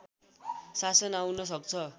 शासन आउन सक्छ